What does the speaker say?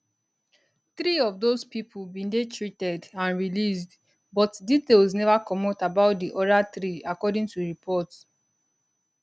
three of those pipo bin dey treated and released but details neva comot about di oda three according to reports